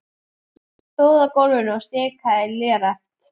Hann stóð á gólfinu og stikaði léreft.